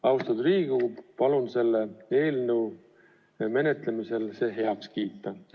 Austatud Riigikogu, palun selle eelnõu menetlemisel see heaks kiita!